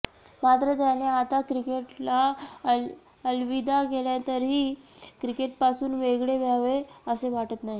मात्र त्याने आता क्रिकेटला अलविदा केल्यानंतरही क्रिकेटपासून वेगळे व्हावे असे वाटत नाही